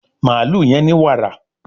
Mààlúù yén ní wààra